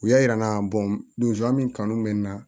U y'a yira n na min kanu mɛ n na